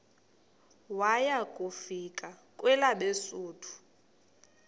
waya kufika kwelabesuthu